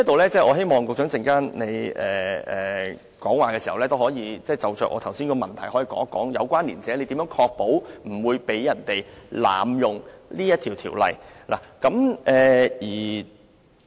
所以，我希望局長稍後發言時可就我剛才提出的問題，解釋一下何謂"有關連者"，以及如何確保不會被人濫用相關條文。